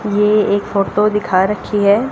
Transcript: ये एक फोटो दिखा रखी है।